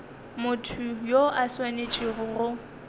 motho yo a swanetšego go